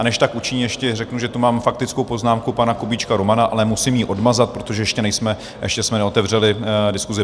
A než tak učiní, ještě řeknu, že tu mám faktickou poznámku pana Kubíčka Romana, ale musím ji odmazat, protože ještě jsme neotevřeli diskusi.